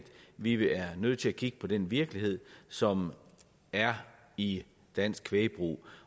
vi vi er nødt til at kigge på den virkelighed som er i dansk kvægbrug